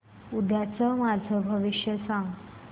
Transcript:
उद्याचं माझं भविष्य सांग